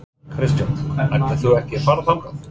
Kristján: Ætlar þú ekki að fara þangað?